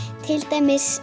til dæmis